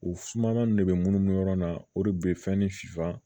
U sumanman ninnu de be munnu yɔrɔ na o de be fɛn ni finfan